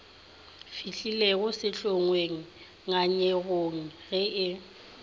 fihlilego sehloweng ngangegong ge e